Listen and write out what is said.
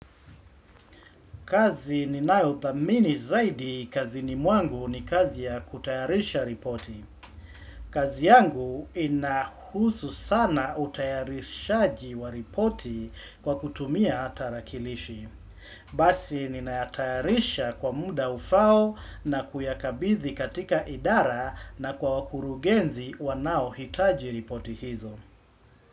Kazi ni nayo thamini zaidi, kazini mwangu ni kazi ya kutayarisha ripoti. Kazi yangu inahusu sana utayarishaji wa ripoti kwa kutumia tarakilishi. Basi ninayatayarisha kwa muda ufao na kuyakabithi katika idara na kwa wakurugenzi wanao hitaji ripoti hizo.